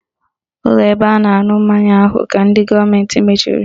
Ụlọ ebe a na-aṅụ mmanya ahụ ka ndị gọọmenti mechiri